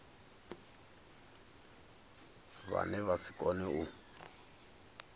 vhane vha si kone u